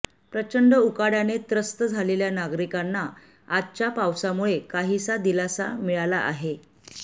प्रचंड उकाड्याने त्रस्त झालेल्या नागरिकांना आजच्या पावसामुळे काहीसा दिलासा मिळाला आहे